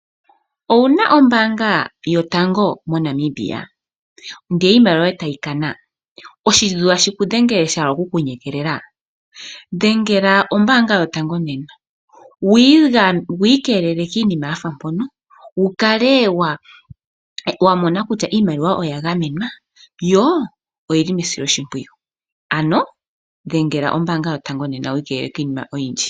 Owu na ombaanga yotango moNamibia ndele iimaliwa tayi kana. Oshintu tashi ku dhengele sha hala okukunyokoma? dhengela ombaanga yotango nena wi ikeelele kiinima ya fa mpono wu kale wa mona kutya iimaliwa oya gamenwa yo oya silwa oshimpwiyu. Dhengela ombaanga yotango nena wi ikeelele kiinima oyindji.